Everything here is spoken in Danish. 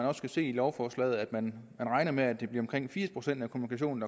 også kan se i lovforslaget at man regner med at det bliver omkring firs procent af kommunikationen